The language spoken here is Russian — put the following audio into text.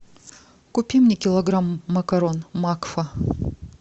купи мне килограмм макарон макфа